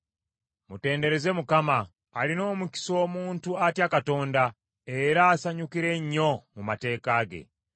Mutendereze Mukama ! Alina omukisa omuntu atya Katonda, era asanyukira ennyo mu mateeka ge.